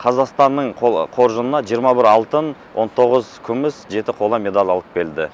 қазақстанның қоржынына жиырма бір алтын он тоғыз күміс жеті қола медаль алып келді